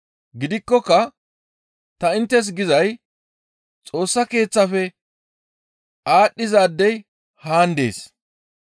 Gidikkoka ta inttes gizay Xoossa Keeththafe aadhdhizaadey haan dees.